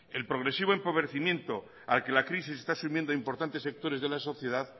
el progresivo empobrecimiento al que la crisis esta sumiendo importantes sectores de la sociedad